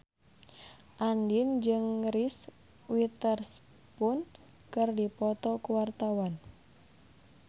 Andien jeung Reese Witherspoon keur dipoto ku wartawan